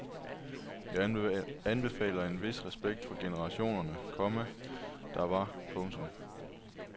Jeg anbefaler en vis respekt for generationerne, komma der var. punktum